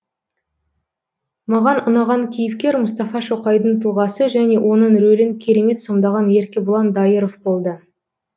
маған ұнаған кейіпкер мұстафа шоқайдың тұлғасы және оның рөлін керемет сомдаған еркебұлан дайыров болды